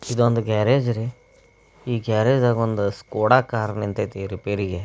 ಇದೊಂದು ಗ್ಯಾರೇಜ್ ರೀ ಈ ಗ್ಯಾರೇಜ ದಾಗ ಒಂದ್ ಸ್ಕೊಡಾ ಕಾರ ನಿಂತೈತಿ ರಿಪೇರಿಗೆ.